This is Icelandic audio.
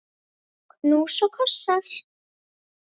Knús og kossar.